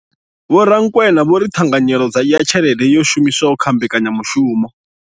Vho Rakwena vho ri ṱhanganyelo ya tshelede yo shumiswaho kha mbekanya mushumo.